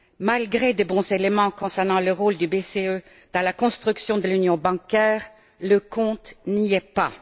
Malgré de bons éléments concernant le rôle de la BCE dans la construction de l'union bancaire, le compte n'y est pas.